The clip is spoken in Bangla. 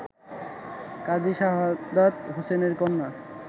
কাজী শাহাদাত হোসেনের কন্যা